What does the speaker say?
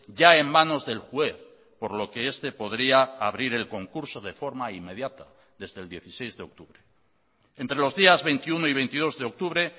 ya en manos del juez por lo que este podría abrir el concurso de forma inmediata desde el dieciséis de octubre entre los días veintiuno y veintidós de octubre